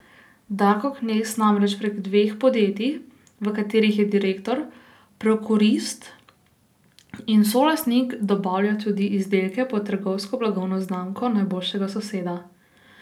Darko Knez namreč prek dveh podjetij, v katerih je direktor, prokurist in solastnik, dobavlja tudi izdelke pod trgovsko blagovno znamko najboljšega soseda.